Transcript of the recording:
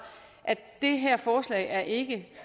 det her forslag er ikke